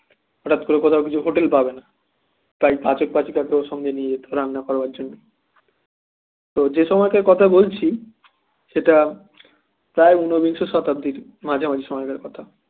হঠাৎ করে কোথাও কিছু hotel পাবে না তাই পাঠক পাচিকা কেউ সঙ্গে নিয়ে যেত রান্না করার জন্য তো যে সময় কার কথা বলছি সেটা প্রায় ঊনবিংশ শতাব্দীর মাঝামাঝি সময়কার কথা